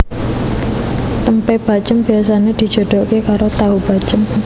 Tempe bacém biasane dijodoke karo tahu bacém